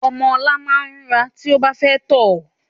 Ọmọ ọ̀la máa ń rúnra to bá fẹ́ tọ̀